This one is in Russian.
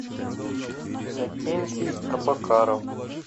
иннокентий абакаров